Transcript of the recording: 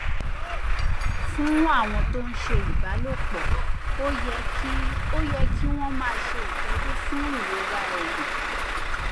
fún àwọn tó ń ṣe ìbálòpò ó yẹ kí ó yẹ kí wón máa ṣe ìtọjú fún ìrora ẹyin